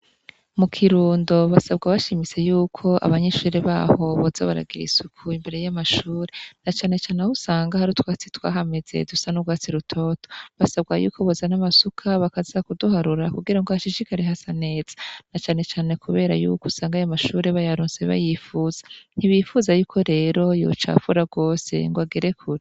Mu Kirundo basabwa bashimitse yuko abanyeshuri baho boza baragira isuku imbere y'amashuri na canecane aho usanga hari utwatsi twahameze dusa n'urwatsi rutoto, basabwa yuko bozana amasuka bakaza kuduharura kugira hashishikare hasa neza na canecane kubera yuko ayo mashuri bayaronse bayipfuza ntibipfuza rero ko yocafura gose ngo agere kure.